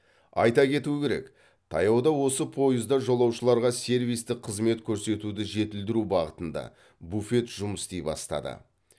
айта кету керек таяуда осы пойызда жолаушыларға сервистік қызмет көрсетуді жетілдіру бағытында буфет жұмыс істей бастады